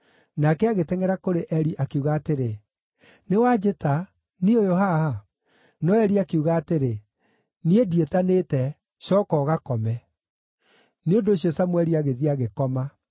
Nake agĩtengʼera kũrĩ Eli, akiuga atĩrĩ, “Nĩ wanjĩta; niĩ ũyũ haha.” No Eli akiuga atĩrĩ, “Niĩ ndiĩtanĩte; cooka ũgakome.” Nĩ ũndũ ũcio Samũeli agĩthiĩ agĩkoma.